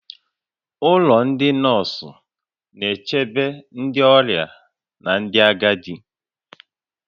Ụlọ ndị nọọsụ na-echebe ndị ọrịa na ndị agadi